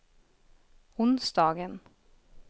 onsdagen